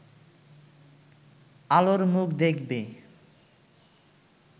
আলোর মুখ দেখবে